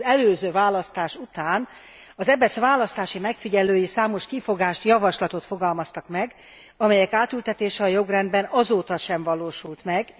Az előző választás után az EBESZ választási megfigyelői számos kifogást, javaslatot fogalmaztak meg, amelyek átültetése a jogrendbe azóta sem valósult meg.